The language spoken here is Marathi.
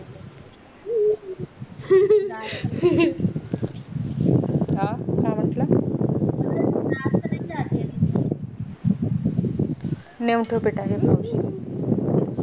काय काय म्हंटला नाय उठत time वर